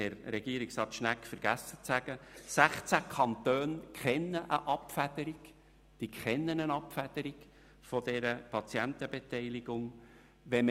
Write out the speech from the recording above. Herr Regierungsrat Schnegg hat zu erwähnen vergessen, dass 16 Kantone eine Abfederung der Patientenbeteiligung kennen.